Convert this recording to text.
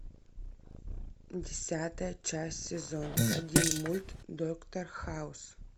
десятая часть сезон один мульт доктор хаус